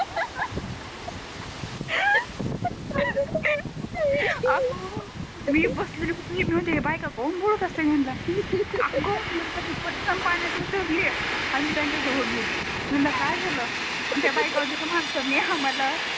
मी बसली होती मी म्हणते हे बायका काऊन बोलत असतील यांनला अग नंतर मी पटकन पाण्यात उतरली आणि मी त्यांच्या जवड गेली मी म्हणल काय झाल आणि त्या बायका म्हणते हया माणसांनी आम्हाला